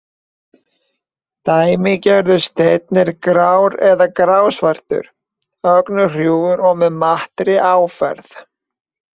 Dæmigerður steinn er grár eða grá-svartur, ögn hrjúfur og með mattri áferð.